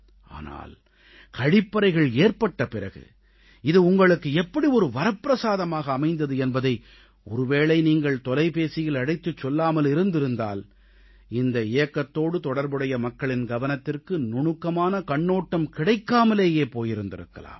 ஆனால் கழிப்பறைகள் ஏற்பட்ட பிறகு இது உங்களுக்கு எப்படி ஒரு வரப்பிரசாதமாக அமைந்தது என்பதை ஒருவேளை நீங்கள் தொலைபேசியில் அழைத்துச் சொல்லாமல் இருந்திருந்தால் இந்த இயக்கத்தோடு தொடர்புடைய மக்களின் கவனத்திற்கு நுணுக்கமான கண்ணோட்டம் கிடைக்காமலேயே போயிருக்கலாம்